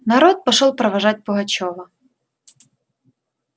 народ пошёл провожать пугачёва